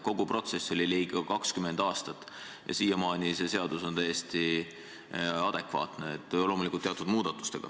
Kogu protsess kestis ligikaudu 20 aastat ja siiamaani see seadus on täiesti adekvaatne, loomulikult teatud muudatustega.